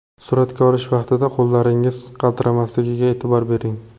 Suratga olish vaqtida qo‘llaringiz qaltiramasligiga e’tibor bering.